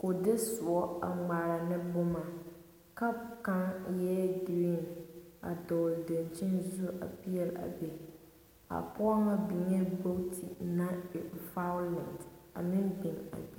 kuu de suɔ a mgaara ne buma cap kanga eei green a dɔgli dankyeni zu a peeli a bɛ a poɔ nga bengee bɔgtu nang e violet a meng beng a bɛ.